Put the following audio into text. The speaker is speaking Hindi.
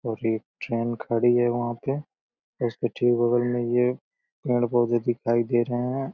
और ये ट्रेन खड़ी है वहां पे। इसके ठीक बगल में ये पेड़ पौधे दिखाई दे रहे हैं।